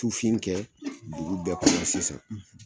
Tufin kɛ dugu bɛɛ kɔnɔ sisan